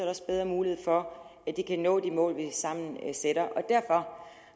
også bedre mulighed for at de kan nå de mål vi sammen sætter derfor